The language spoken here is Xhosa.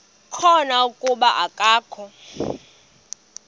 khona kuba akakho